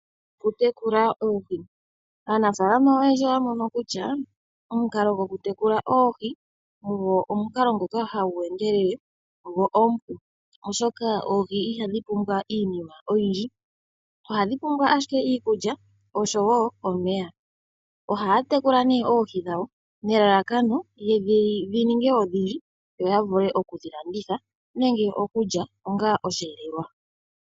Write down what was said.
Okutekula oohi, aanafalama oyendji oya mono kutya omukalo gwokutekula oohi omukalo ngoka hagu endelele gwo omupu oshoka oohi nhadhi pumwa iinima oyindji ohadhi pum wa ashike iikulya nomeya. Ohaya tekula oohi dhi ninge odhindji yalandithe nenge yamone osheelelwa.